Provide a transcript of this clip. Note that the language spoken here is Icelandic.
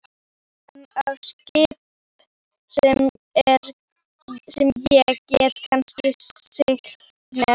Hann á skip sem ég get kannski siglt með.